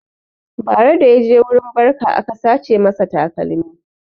Bara da yaje wurin barka aka sace masa takalmi